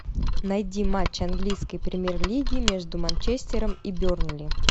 найди матч английской премьер лиги между манчестером и бернли